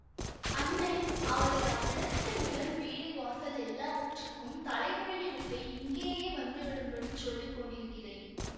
அண்ணே அவரை அவ்விடத்து நிலம் வீடு வாசல் எல்லாவற்றுக்கும் தலை முழுகி விட்டு இங்கேயே வந்து விடும்படிச் சொல்லி கொண்டிருக்கிறேன்